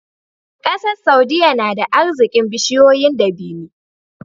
ƙasar saudia nada arzikin bishiyoyin dabini